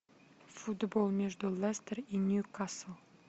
футбол между лестер и ньюкасл